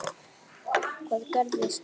Hvað gerðist þá?